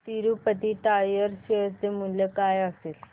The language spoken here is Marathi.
तिरूपती टायर्स शेअर चे मूल्य काय असेल